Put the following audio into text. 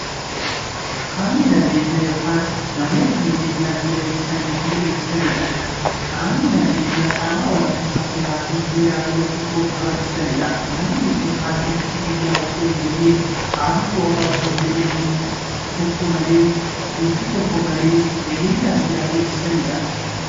Qaamni nageenyaa qaama yookiin namoota nageenya biyyaa eeganiifi eegsisaniidha. Qaamni nageenyaa qaama olaantummaa seerafi heera biyya tokkoo kabachiisaniidha. Namoonni kun halkaniif guyyaa osoon jedhin, aduu qorra osoon jedhin nuffii tokko malee nageenya biyyaa eegsisaniidha.